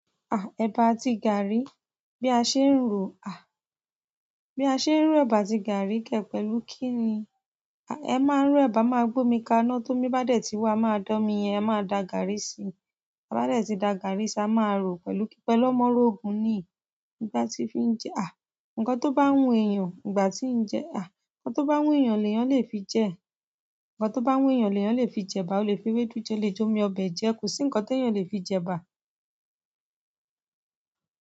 À, ẹ̀bà àti gààrí. Bí a ṣe ń rò, à, bí a ṣe ń ro ẹ̀bà àti gààrí kẹ̀ pẹ̀lú kíni? À, ẹ máa ro ẹ̀bà, máa gbómi kaná, tó mi bá dẹ̀ ti wà, máa dán mi yẹn, ẹ máa da gààrí síi. A bá dẹ̀ ti da gààrí ṣá, a máa rò pẹ̀lú kíkẹ́ lọ́mọrógun ni ìgbà tí ń fi jẹ à. Ǹkan tó bá hun èèyàn ìgbà tí ń jẹ à. Ǹkan tó bá wù èèyàn lè yàn lè fi jẹ. Ǹkan tó bá wù èèyàn lè yàn lè fi jẹ ẹ̀bà. O lè fi ewédú jẹ, o lè jomii ọbẹ̀ jẹ. Kò sí ǹkan tó yàn lè fi jẹ ba.